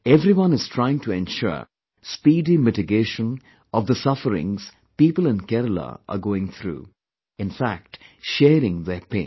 Everyone is trying to ensure speedy mitigation of the sufferings people in Kerala are going through, in fact sharing their pain